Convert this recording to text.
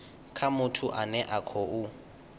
kha muthu ane a khou